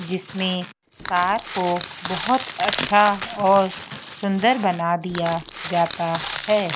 जिसमें कार को बहोत अच्छा और सुंदर बना दिया जाता है।